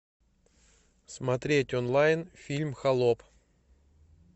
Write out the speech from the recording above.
смотреть онлайн фильм холоп